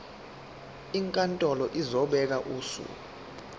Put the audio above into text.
inkantolo izobeka usuku